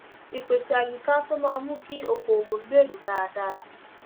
ìpèsè àyíká tó máa mú kí ọkọọwọ gbèrú dáadáa